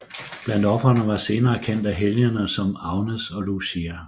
Blandt ofrene var senere kendte helgener som Agnes og Lucia